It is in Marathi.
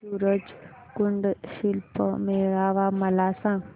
सूरज कुंड शिल्प मेळावा मला सांग